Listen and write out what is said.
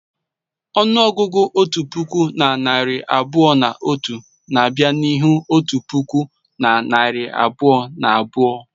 Ọnụọgụgụ otu puku na narị abụọ na otu na-abịa n'ihu otu puku na narị abụọ na abụọ.